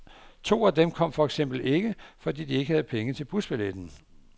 To af dem kom for eksempel ikke, fordi de ikke havde penge til busbilletten.